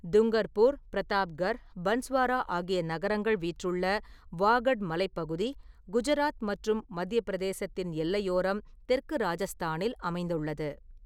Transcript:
டூங்கர்பூர், பிரதாப்கர், பன்ஸ்வாரா ஆகிய நகரங்கள் வீற்றுள்ள வாகட் மலைப்பகுதி குஜராத் மற்றும் மத்திய பிரதேசத்தின் எல்லையோரம் தெற்கு ராஜஸ்தானில் அமைந்துள்ளது.